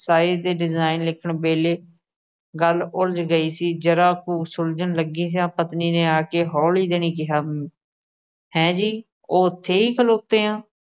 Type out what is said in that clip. ਤਾਏ ਦੇ design ਲਿਖਣ ਵੇਲੇ ਗੱਲ ਉਲਝ ਗਈ ਸੀ। ਜਰਾ ਕੁ ਸੁਲਝਣ ਲੱਗੀ ਸੀ। ਪਤਨੀ ਨੇ ਆ ਕੇ ਹੌਲੀ ਦੇਣੀ ਕਿਹਾ, ਹੈ ਜੀ। ਉਹ ਉਥੇ ਹੀ ਖਲੋਤੇ ਆ?